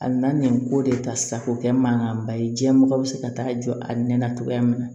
A na nin ko de ta sa ko kɛ mankanba ye diɲɛ mɔgɔ bɛ se ka taa jɔ a nɛnɛ cogoya min na